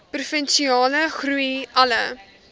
provinsiale groei alle